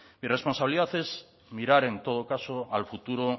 mi responsabilidad es mirar en todo caso al futuro